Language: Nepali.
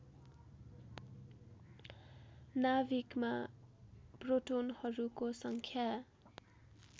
नाभिकमा प्रोटोनहरूको सङ्ख्या